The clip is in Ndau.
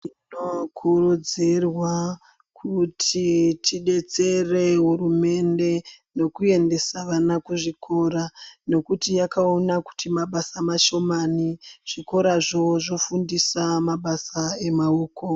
Tinokurudzirwa kuti tidetsere hurumende nekuendesa vana kuzvikora nekuti yakaona kuti mabasa mashomani zvikora zvo zvofundisa mabasa emaoko.